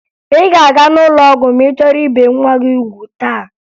Ị ga-aga n'ụlọ ọgwụ ma ị chọrọ ibe nwa gị ugwu taa